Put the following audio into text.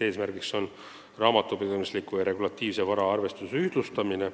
Eesmärk on raamatupidamisliku ja regulatiivse vara arvestuse ühtlustamine.